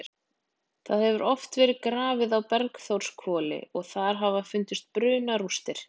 Það hefur oft verið grafið á Bergþórshvoli og þar hafa fundist brunarústir.